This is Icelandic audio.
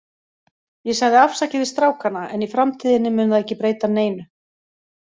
Ég sagði afsakið við strákana, en í framtíðinni mun það ekki breyta neinu.